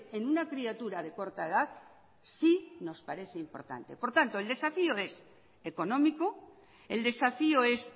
en una criatura de corta edad sí nos parece importante por tanto el desafío es económico el desafío es